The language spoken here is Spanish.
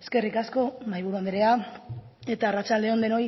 eskerrik asko mahaiburu anderea arratsalde on denoi